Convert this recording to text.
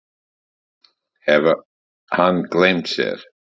Hafði hann gleymt sér?